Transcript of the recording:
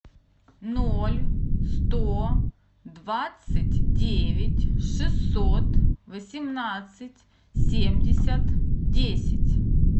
ноль сто двадцать девять шестьсот восемнадцать семьдесят десять